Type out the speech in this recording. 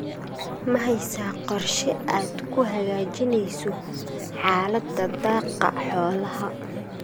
Ma haysaa qorshe aad ku hagaajinayso xaaladda daaqa xoolaha?